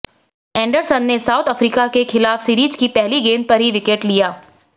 Anderson ने South Africa के खिलाफ सीरीज की पहली गेंद पर ही विकेट लिया